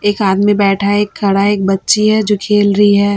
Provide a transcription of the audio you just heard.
एक आदमी बैठा है एक खड़ा है एक बच्ची है जो खेल रही है।